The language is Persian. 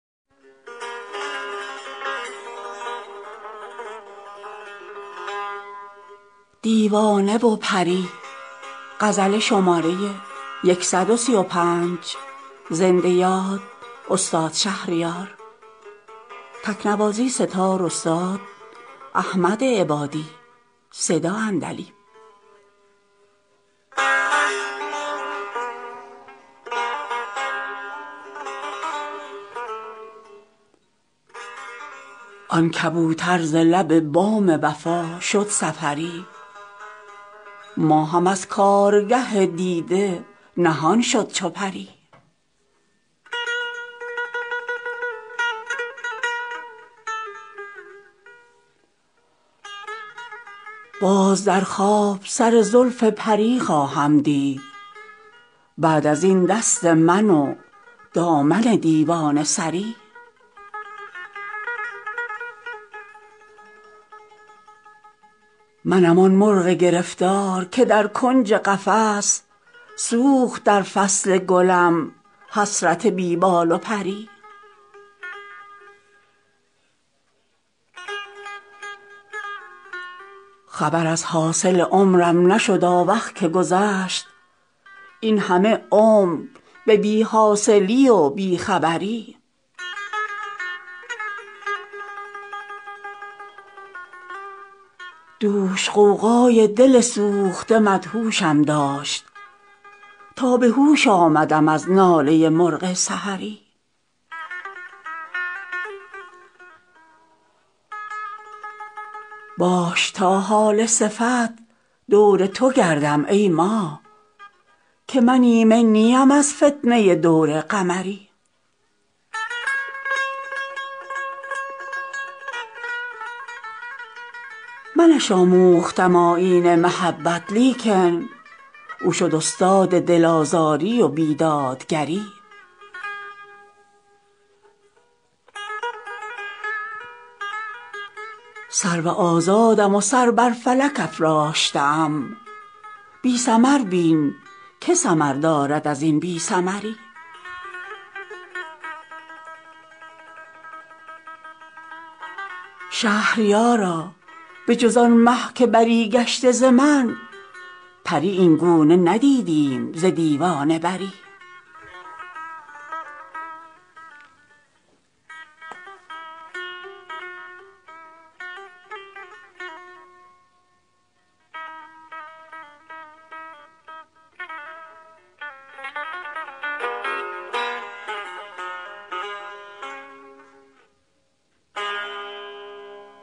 آن کبوتر ز لب بام وفا شد سفری ماهم از کارگه دیده نهان شد چو پری باز در خواب سر زلف پری خواهم دید بعد از این دست من و دامن دیوانه سری تا مگر باز به خاک سر کوی تو رسم چون صبا شیوه خود ساخته ام دربه دری منم آن مرغ گرفتار که در کنج قفس سوخت در فصل گلم حسرت بی بال و پری دوش با یاد گل روی تو از شبنم اشک به چمن ریختم آب رخ گلبرگ طری چه که آن آهوی مشکین سیه چشم گشود از سر زلف سیه نافه خونین جگری خبر از حاصل عمرم نشد آوخ که گذشت اینهمه عمر به بی حاصلی و بی خبری دوش غوغای دل سوخته مدهوشم داشت تا به هوش آمدم از ناله مرغ سحری باش تا هاله صفت دور تو گردم ای ماه که من ایمن نیم از فتنه دور قمری نه من از کوه فراقت کمری گشتم و بس زیر این بار گران کوه نماید کمری یاد آن طفل نوآموز فریبنده به خیر که دم از علم و ادب می زد و صاحب نظری منش آموختم آیین محبت لیکن او شد استاد دل آزاری و بیدادگری وه که در چشم خود از بی پسری پروردم طفل اشکی که به رخ می دود از بی پدری به که تنها ننهم گوشه تنهایی را کاین دهد توشه دانایی مرد هنری سرو آزادم و سر بر فلک افراشته ام بی ثمر بین که ثمردارد از این بی ثمری شهریارا به جز آن مه که بری گشته ز من پری اینگونه ندیدیم ز دیوانه بری